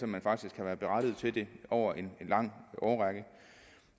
man faktisk kan være berettiget til det over en lang årrække